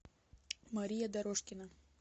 мария дорожкина